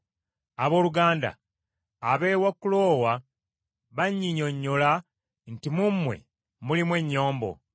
Abooluganda, ab’ewa Kuloowe bannyinnyonnyola nti mu mmwe mulimu ennyombo.